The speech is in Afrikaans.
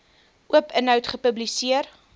oop inhoud gepubliseer